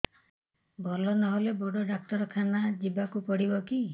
ଭଲ ନହେଲେ ବଡ ଡାକ୍ତର ଖାନା ଯିବା କୁ ପଡିବକି